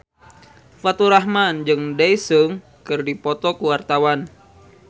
Faturrahman jeung Daesung keur dipoto ku wartawan